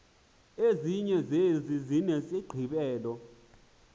ezinye zezi zinesigqibelo